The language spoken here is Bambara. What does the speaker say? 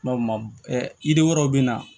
yiri wɛrɛw bɛ na